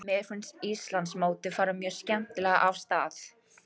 Mér finnst Íslandsmótið fara mjög skemmtilega af stað.